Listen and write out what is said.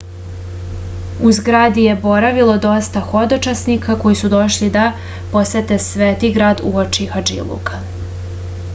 u zgradi je boravilo dosta hodočasnika koji su došli da posete sveti grad uoči hadžiluka